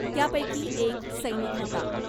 त्यापैकी एक सैनिक होता .